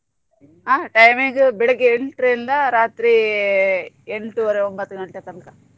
ಆ time ಈಗ ಬೆಳಿಗ್ಗೆ ಎಂಟ್ ರಿಂದ ರಾತ್ರಿ ಎಂಟ್ವರೆ ಒಂಬತ್ತ್ ಗಂಟೆ ತನ್ಕ.